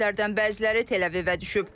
Raketlərdən bəziləri Təl-Əvivə düşüb.